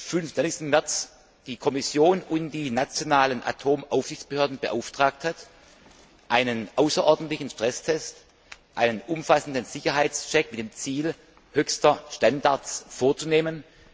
25. März die Kommission und die nationalen Atomaufsichtsbehörden beauftragt hat, einen außerordentlichen Stresstest, einen umfassenden Sicherheitscheck mit dem Ziel höchster Standards vorzunehmen.